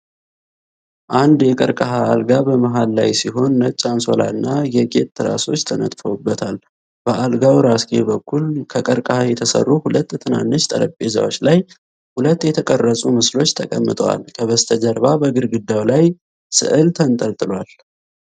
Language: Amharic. አንድ የቀርከሃ አልጋ በመሃል ላይ ሲሆን፣ ነጭ አንሶላና የጌጥ ትራሶች ተነጥፈውበታል። በአልጋው ራስጌ በኩል ከቀርከሃ የተሰሩ ሁለት ትናንሽ ጠረጴዛዎች ላይ ሁለት የተቀረጹ ምስሎች ተቀምጠዋል። ከበስተጀርባ በግድግዳው ላይ ስዕል ተንጠልጥሏል።